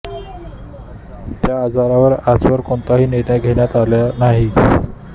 त्या अर्जावर आजवर कोणताही निर्णय घेण्यात आला नाही